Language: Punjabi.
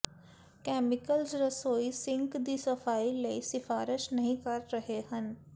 ਕੈਮੀਕਲਜ਼ ਰਸੋਈ ਸਿੰਕ ਦੀ ਸਫਾਈ ਲਈ ਸਿਫਾਰਸ਼ ਨਹੀ ਕਰ ਰਹੇ ਹਨ